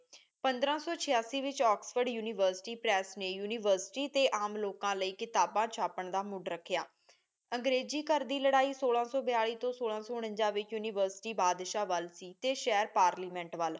ਪੰਦ੍ਰ ਸੋਛਿਆਸੀ ਵਿਚ ਓਕ੍ਸ੍ਫੋਰਡ ਯੂਨੀਵਰਸਿਟੀ ਪ੍ਰੇਸ ਨੀ ਯੂਨੀਵਰਸਿਟੀ ਤੇ ਆਮ ਲੋਕਾਂ ਲੈ ਕਿਤਾਬਾਂ ਛਾਪਣ ਦਾ ਮੁੜ੍ਹ ਰਖ੍ਯਾ ਅੰਗ੍ਰੇਜ਼ੀ ਘਰ ਦੀ ਲੜਾਈ ਸੋਲਾਹ ਸੂ ਬਯਾਲੀ ਤੋ ਸੋਲਾਹ ਸੂ ਉਨਾਨ੍ਜਾ ਵਿਚ ਯੂਨੀਵਰਸਿਟੀ ਬਾਦਸ਼ਾਹ ਵਾਲ ਸੀ ਤੇ ਸ਼ੇਹਰ ਪਾਰਲੀਮੇਂਟ ਵਾਲ